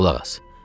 Qulaq as.